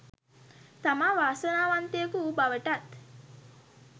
තමා වාසනාවන්තයෙකු වූ බවටත්